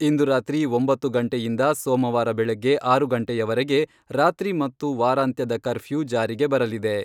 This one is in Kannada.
ಇಂದು ರಾತ್ರಿ ಒಂಬತ್ತು ಗಂಟೆಯಿಂದ ಸೋಮವಾರ ಬೆಳಗ್ಗೆ ಆರು ಗಂಟೆಯವರೆಗೆ ರಾತ್ರಿ ಮತ್ತು ವಾರಾಂತ್ಯದ ಕರ್ಫ್ಯೂ ಜಾರಿಗೆ ಬರಲಿದೆ.